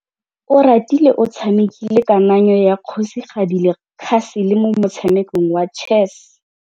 Oratile o tshamekile kananyô ya kgosigadi le khasêlê mo motshamekong wa chess.